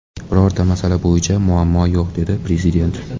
Birorta masala bo‘yicha muammo yo‘q”, dedi Prezident.